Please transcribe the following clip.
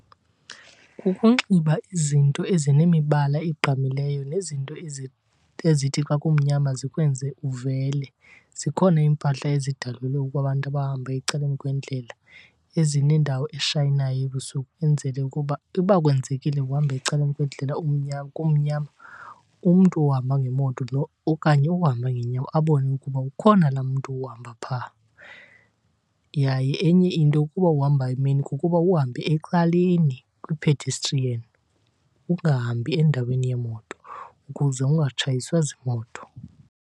Kukunxiba izinto ezinemibala egqamileyo nezinto ezithi xa kumnyama zikwenze uvele. Zikhona iimpahla ezidalelwe ukuba abantu abahamba ecaleni kwendlela ezinendawo eshayinayo ebusuku, kwenzele ukuba uba kwenzekile uhamba ecaleni kwendlela kumnyama umntu ohamba ngemoto okanye ohamba ngeenyawo abone ukuba ukhona laa mntu uhamba phaa. Yaye enye into ukuba uhamba emini kukuba uhambe ecaleni kwi-pedestrian, ungahambi endaweni yeemoto ukuze ungatshayiswa ziimoto.